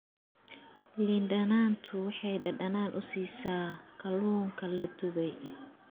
Liin dhanaantu waxay dhadhan u siisaa kalluunka la dubay.